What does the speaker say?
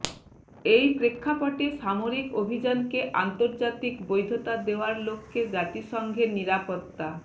এই প্রেক্ষাপটে সামরিক অভিযানকে আন্তর্জাতিক বৈধতা দেওয়ার লক্ষ্যে জাতিসংঘের নিরাপত্তা